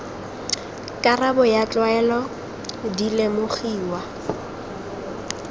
karabo ya tlwaelo di lemogiwa